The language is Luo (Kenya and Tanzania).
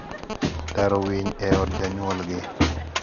daro winy e od janyuolgi